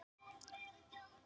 Ég segi það bara eins og er.